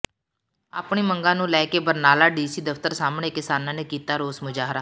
ਆਪਣੀ ਮੰਗਾਂ ਨੂੰ ਲੈ ਕੇ ਬਰਨਾਲਾ ਡੀਸੀ ਦਫ਼ਤਰ ਸਾਹਮਣੇ ਕਿਸਾਨਾਂ ਨੇ ਕੀਤਾ ਰੋਸ ਮੁਜਾਹਰਾ